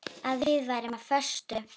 Að við værum á föstu.